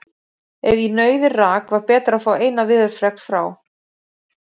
Ef í nauðir rak, var betra að fá eina veðurfregn frá